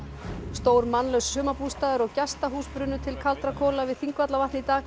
stór mannlaus sumarbústaður og gestahús brunnu til kaldra kola við Þingvallavatn í dag